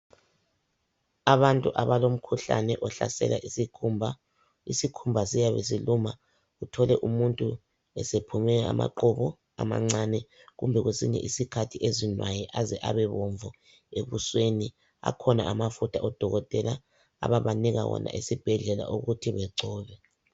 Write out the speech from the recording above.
Abantu abalomkhuhlane ohlasela isikhumba isikhumba siyabe siluma uthole abantu esephume amaqhubu amancane kumbe kwesinye isikhathi azinwaye aze abe bomvu ebuswenu akhona amafutha odokotela abaka wona ukuthi bengcobe